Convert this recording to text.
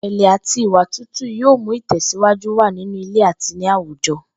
Ìrè̩lè̩ àti ìwà tútù yóò mú ìtè̩síwájú wà nínú ilé àti ní àwùjo̩